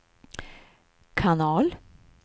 kanal